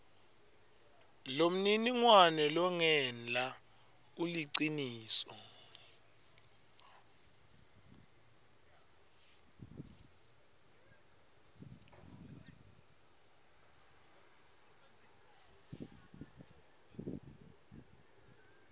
lomniningwane longenla uliciniso